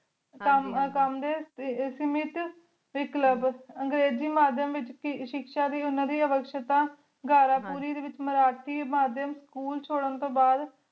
ਕਾਮ ਕਾਮ ਡੀ ਸਮਤ ਟੀ ਕਲਬ ਅਜਿਬਾਦ੍ਮ ਵੇਚ ਸ਼ਿਖ ਸ਼ਾ ਤੂ ਉਨਾ ਦੇ ਵੇਖ੍ਸ਼੍ਤਾਂ ਖਾਰਾ ਪੂਰੀ ਡੀ ਵੇਚ ਮੇਰਾਤੀ ਆਦਮ ਸਕੂਲ ਚੁਡਨ ਤੂੰ ਬਾਦ